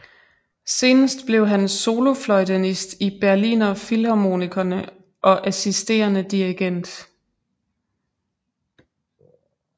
Senest blev han solofløjtenist i Berliner Philharmonikerne og assisterende dirigent